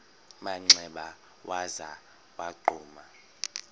manxeba waza wagquma